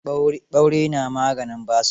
Ɓaure na maganin basir.